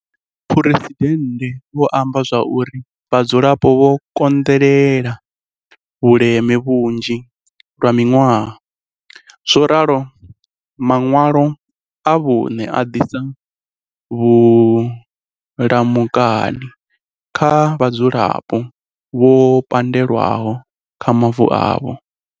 Muphuresidennde vho amba zwa uri vhadzulapo vho konḓelela vhuleme vhunzhi lwa miṅwaha, zworalo maṅwalo a vhuṋe a ḓisa vhu lamukani kha vhadzulapo vho pandelwaho kha mavu avho.